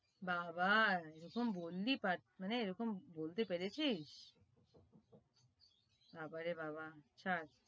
বাবা এরকম বললি মানে এরকম বলতে পেরেছিস বাবা রে বাবা ছাড়